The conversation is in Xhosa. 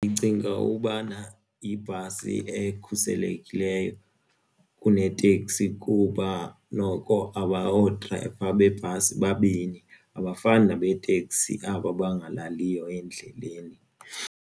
Ndicinga ubana yibhasi ekhuselekileyo kuneteksi kuba noko oodrayiva beebhasi babini abafani nabo beeteksi aba bangalaliyo endleleni.